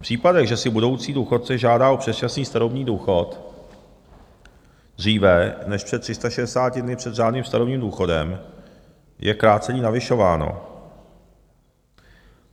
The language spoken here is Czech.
V případech, že si budoucí důchodce žádá o předčasný starobní důchod dříve než před 360 dny před řádným starobním důchodem, je krácení navyšováno.